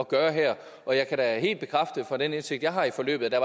gøre her og jeg kan da helt bekræfte ud fra den indsigt jeg har i forløbet at der